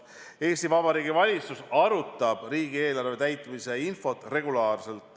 " Eesti Vabariigi valitsus arutab riigieelarve täitmise infot regulaarselt.